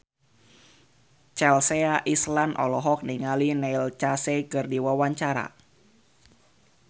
Chelsea Islan olohok ningali Neil Casey keur diwawancara